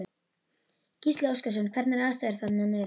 Gísli Óskarsson: Hvernig eru aðstæður þarna niðri?